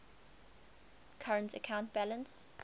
current account balance